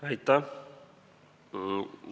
Aitäh!